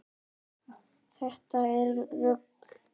Þetta er rugl.